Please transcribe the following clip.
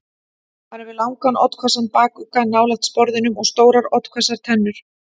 Hann hefur langan, oddhvassan bakugga nálægt sporðinum og stórar oddhvassar tennur.